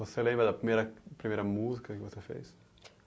Você lembra da primeira, primeira, música que você fez?